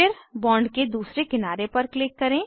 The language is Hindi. फिर बॉन्ड के दूसरे किनारे पर क्लिक करें